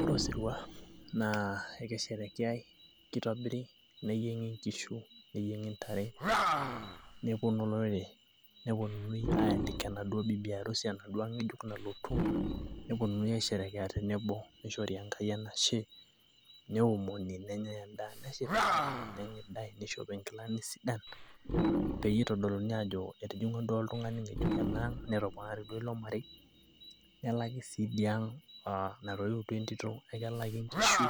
ore osirua naa kisherekea, neyieng'i nkishu, neyiengi ntare, nepuonu olorere, ayalika enaduoo bibi harusi ayalika enaduoo ang' ngejuk nalotu. nishori enkai enashe, neomoni, nenyae edaa neshipae, nishopi nkilani sidan, pee eyiolouni ajo etijungwa oltungani ngejuk enaang'.nelaki sii idia ang',natoiutuo entito ekelaki nkishu,